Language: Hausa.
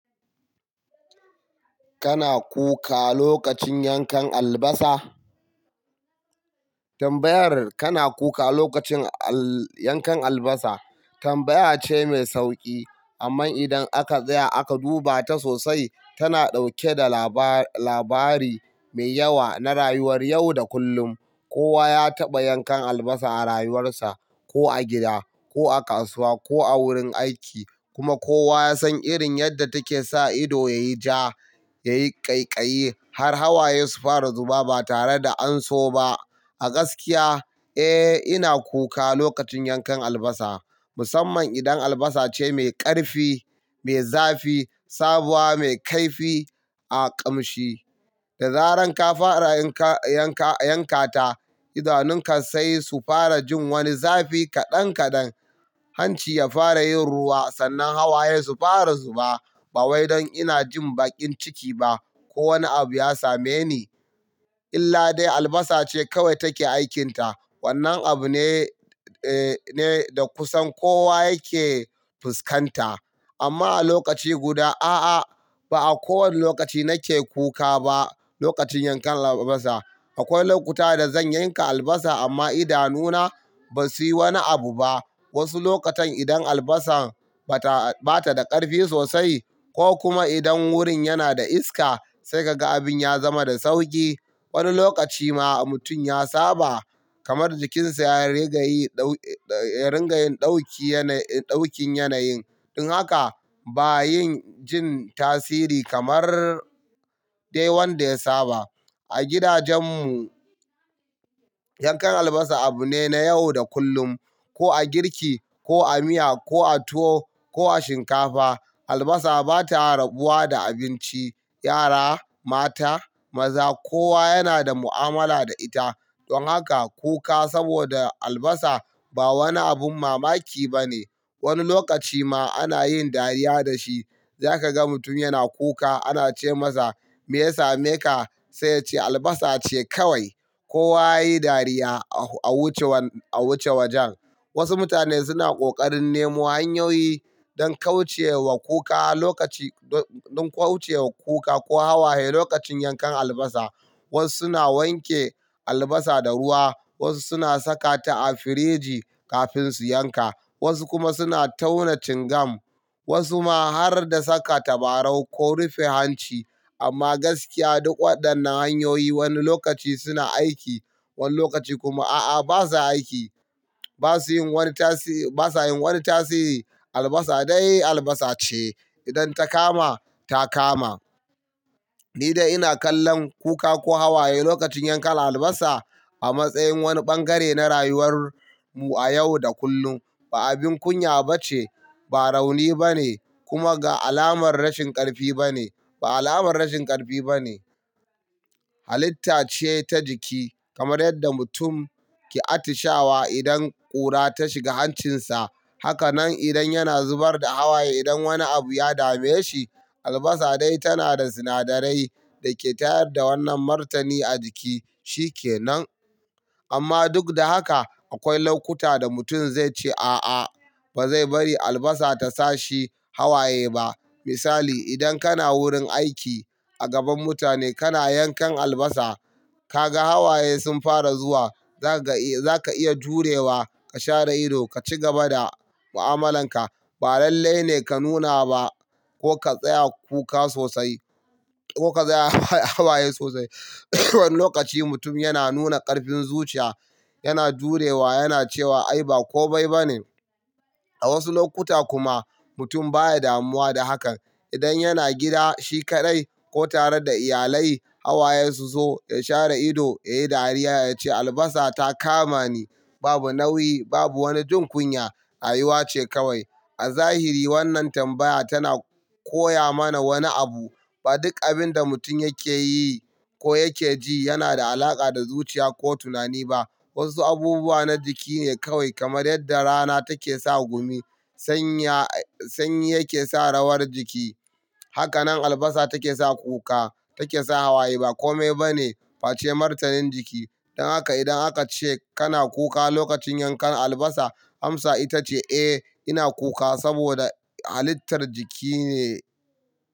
Kana kuka lokacin yankan albasa? Tambayar kana kuka lokacin al-- yankan albasa tambaya ce mai sauƙi. Amma idan aka tsaya aka duba ta sosai, tana ɗauke da laba-labari mai yawa na rayuwar yau da kullum. Kowa ya taɓa yankan albasa a rayuwarsa, ko a gida, ko a kasuwa, ko a wurin aiki. Kuma kowa ya san irin yadda take sa ido ya yi ja, ya yi ƙaiƙayi, har hawaye su fara zuba ba tare da an so ba. A gaskiya, eh, ina kuka lokacin yankan albasa. Musamman idan albasa ce mai ƙarfi, mai zafi, sabuwa, mai kaifi a ƙamshi. Da zaran ka fara yanka-yanka ta idanunka sai su fara jin wani zafi kaɗan kaɗan, hanci ya fara yin ruwa, sannan hawaye su fara zuba. Ba wai don ina jin bakin ciki ba ko wani abu ya same ni. Illa dai albasa ce kawai take aikinta. Wannan abu ne, eh, ne da kusan kowa yake fuskanta. Amma a lokaci guda, a'a, ba a kowane lokaci nake kuka ba lokacin yankan albasa. Akwai lokuta da zan yanka albasa amma idanuna ba suyi wani abu ba. Wasu lokutan idan albasan bata, bata da ƙarfi sosai ko kuma idan wurin yana da iska sai kaga abin ya zama da sauƙi. Wani lokaci ma mutum ya saba, kamar jikinsa ya rigayi, dau-- ringa yin ɗauki yana, ɗaukin yanayin. Don haka ba yin jin tasiri kamar dai wanda ya saba. A gidajen mu, yankan albasa abu ne na yau da kullum. Ko a girki, ko a miya, ko a tuwo, ko a shinkafa. Albasa bata rabuwa da abinci. Yara, mata, maza, kowa yana da mu'amala da ita. Don haka kuka saboda albasa ba wani abin mamaki ba ne. Wani lokaci ma ana yin dariya da shi. Za kaga mutum yana kuka ana ce masa "Me ya same ka?" Sai ya ce "Albasa ce kawai." Kowa yayi dariya a wucewan, a wuce wajen. Wasu mutane suna ƙoƙarin nemo hanyoyi don kauce wa kuka lokaci, don kauce wa kuka ko hawaye lokacin yankan albasa. Wasu suna wanke albasa da ruwa, wasu suna saka ta a firiji kafin su yanka, wasu kuma suna tauna cingam, wasu ma har da saka tabarau ko rufe hanci. Amma gaskiya duk waɗannan hanyoyi wani lokaci suna aiki, wani lokaci kuma a'a basa aiki. Ba su yin wani tasi-- basa yin wani tasiri. Albasa dai albasa ce. Idan ta kama, ta kama. Ni dai ina kallon kuka ko hawaye lokacin yankan albasa a matsayin wani bangare na rayuwar mu a yau da kullum. Ba abin kunya ba ce, ba rauni ba ne, kuma ga alamar rashin ƙarfi ba ne. Ba alamar rashin ƙarfi ba ne. Halitta ce ta jiki, kamar yadda mutum ke atishawa idan ƙura ta shiga hancinsa. Hakanan idan yana zubar da hawaye idan wani abu ya dame shi. Albasa dai tana da sinadarai da ke tayar da wannan martani a jiki. Shikenan. Amma duk da haka akwai lokuta da mutum zai ce a'a, ba zai bari albasa ta sa shi hawaye ba. Misali, idan kana wurin aiki a gaban mutane kana yankan albasa, ka ga hawaye sun fara zuwa, za ka ga eh za ka iya jurewa ka share ido ka cigaba da mu'amalanka. Ba lalle ne ka nuna ba ko ka tsaya kuka sosai ko ka tsaya hawaye sosai. Wani lokaci mutum yana nuna ƙarfin zuciya, yana jurewa, yana cewa "Ai ba komai ba ne." A wasu lokuta kuma mutum baya damuwa da haka. Idan yana gida shi kaɗai ko tare da iyalai, hawaye su zo ya share ido, ya yi dariya ya ce "Albasa ta kama ni." Babu nauyi, babu wani jin kunya. Rayuwa ce kawai. A zahiri wannan tambaya tana koya mana wani abu. Ba duk abin da mutum yake yi ko yake ji yana da alaƙa da zuciya ko tunani ba. Wasu abubuwa na jiki ne kawai, kamar yadda rana take sa gumi, sanya sanyi yake sa rawar jiki. Hakanan albasa take sa kuka, take sa hawaye. Bakome ba ne face martanin jiki. Don haka idan aka ce kana kuka lokacin yankan albasa, amsa ita ce "Eh, ina kuka saboda halittar jiki ne."